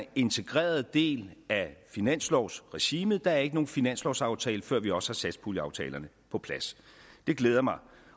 er integreret del af finanslovsregimet der er ikke nogen finanslovsaftale før vi også har satspuljeaftalerne på plads det glæder mig